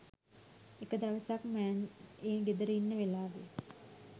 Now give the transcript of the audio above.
එක දවසක් මෑන් ඒ ගෙදර ඉන්න වෙලාවෙ